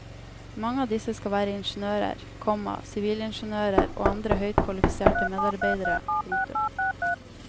Mange av disse skal være ingeniører, komma sivilingeniører og andre høyt kvalifiserte medarbeidere. punktum